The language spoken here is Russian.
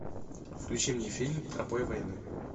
включи мне фильм тропой войны